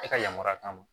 E ka yamaruya t'an ma